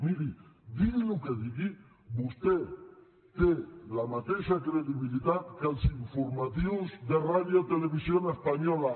miri digui el que digui vostè té la mateixa credibilitat que els informatius de radiotelevisión española